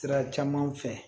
Sira caman fɛ